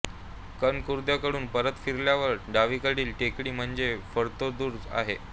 कनकदुर्गाकडून परत फिरल्यावर डावीकडील टेकडी म्हणजे फत्तेदुर्ग आहे